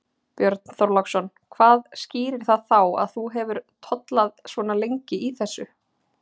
Björn Þorláksson: Hvað skýrir það þá að þú hefur tollað svona lengi í þessu?